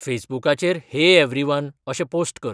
फेसबुकाचेर hey everyone अशें post कर